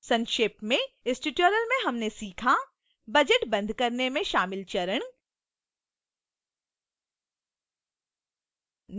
संक्षेप में